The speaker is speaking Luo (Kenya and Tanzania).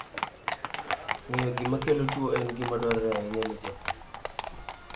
Ng'eyo gima kelo tuwo en gima dwarore ahinya ne japur